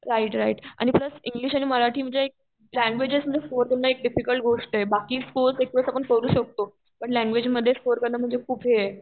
Right right आणि plus English आणि मराठी जे ल्यांग्यूजेसमध्ये स्कोर कारण एक टिपिकल गोष्टये बाकी साकोरे एकावेळेस आपण करू शकतो पण ल्यांग्यूजेसमध्ये स्कोर कारण म्हणजे खूप हे ए.